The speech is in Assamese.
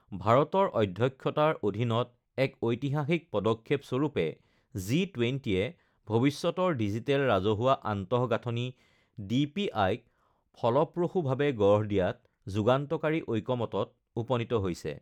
ভাৰতৰ অধ্যক্ষতাৰ অধীনত এক ঐতিহাসিক পদক্ষেপ স্বৰূপে জি ২০য়ে ভৱিষ্যতৰ ডিজিটেল ৰাজহুৱা আন্তঃগাঁথনি ডিপিআইক ফলপ্ৰসূভাৱে গঢ় দিয়াত যুগান্তকাৰী ঐক্যমতত উপনীত হৈছে